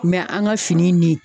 an ka fini ni